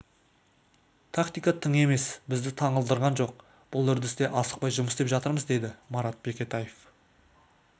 тактика тың емес бізді таңғалдырған жоқ бұл үрдісте асықпай жұмыс істеп жатырмыз деді марат бекетаев